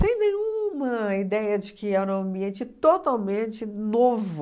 nenhuma ideia de que era um ambiente totalmente novo.